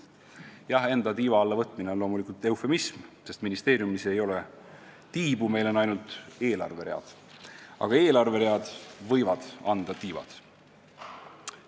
Jah, enda tiiva alla võtmine on loomulikult eufemism, sest ministeeriumil ei ole tiibu, meil on ainult eelarveread, aga eelarveread võivad anda tiivad.